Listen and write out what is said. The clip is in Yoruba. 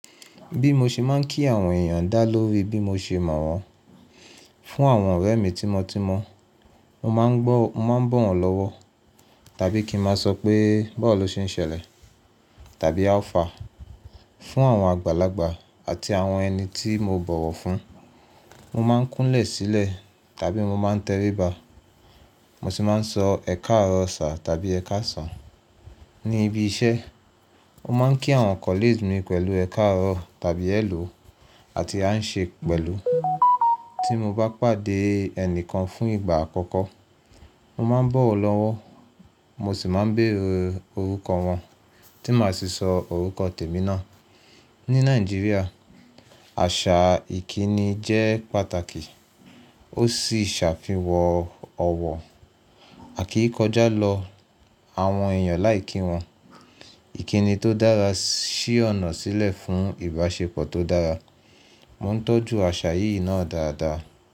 Bí mo ṣe máa ń kí àwọn èèyàn dá lórí bí mo ṣe mọ̀ wọ́n. Fún àwọn ọ̀rẹ́ mi tímọ́tímọ́, mo máa ń bọ̀ wọ́n lọ́wọ́, tàbí kí n máa sọ pé, “bọ̀wọ̀ ló ṣe ń ṣẹlẹ̀?” tàbí “áu fàá?” Fún àwọn àgbàlagbà àti àwọn ẹni tí mo bọ̀wọ̀ fún, mo máa ń kúnlẹ̀ sílẹ̀ tàbí mo máa ń tẹríba. Mo sì máa ń sọ “ẹ káàrọ̀ sà” tàbí “ẹ káàsàn”. Ní ibi iṣẹ́, mo máa ń kí àwọn colleague mi pẹ̀lú “ẹ káàrọ̀” tàbí “hello” àti “how are you doing?” Tí mo bá pàdé ẹnìkan fún ìgbà àkọ́kọ́, mo máa ń bọ̀ wọ́n lọ́wọ́. Mo sì máa ń béèrè orúkọ wọn tí màá sì sọ orúkọ tèmi náà. Ní Nàìjíríà, àṣà ìkíni jẹ́ pàtàkì, ó sì ṣàfihàn ọ̀wọ̀ àkíí kọjá lọ àwọn èèyàn láì kí wọn. Ìkíni tó dára ṣí ọ̀nà sílẹ̀ fún ìbáṣepọ̀ tó dára. Mo ń tọ́jú àṣà yìí náà dáadáa.